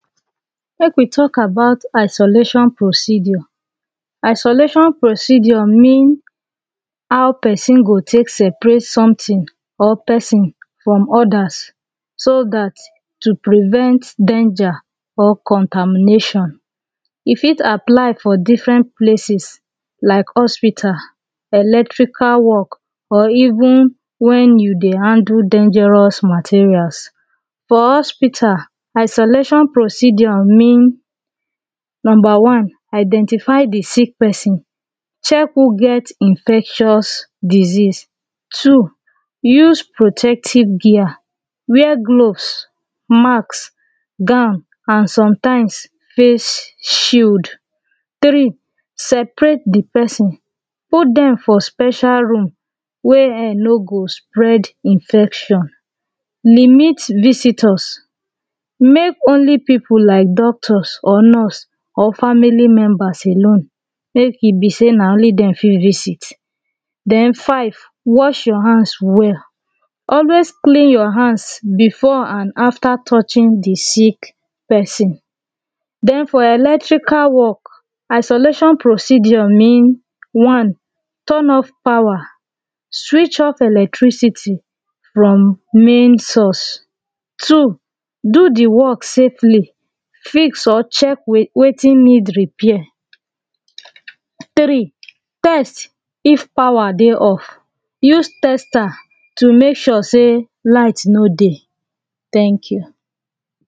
Make we talk about isolation procedure Isolation procedure mean how person go take separate something or person from others so that to prevent danger or contamination. E fit apply for different places like hospital electrical work or even when you dry handle dangerous materials for hospital, isolation procedure mean Number one Identify the sick person; check who get infectious disease Two use protective gear wear gloves, mask gown and sometimes face shield. Three, separate the person; put them for special room wey air no spread infection limit visitors make only people like doctors or nurse or family members alone, make e be say na only dem fit visit then Five wash your hand well; always clean your hand before and after touching the sick person. Then for electrical work isolation procedure mean One turn off power; switch off electricity electricity from main source Two do the work safely fix or check wetin need repair Three test of power dey off; use tester to make sure say light no dey thank you